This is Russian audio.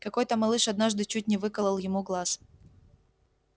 какой-то малыш однажды чуть не выколол ему глаз